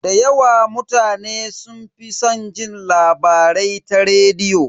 Da yawa mutane sun fi san jin labarai ta rediyo.